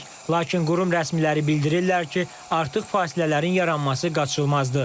Lakin qurum rəsmiləri bildirirlər ki, artıq fasilələrin yaranması qaçılmazdır.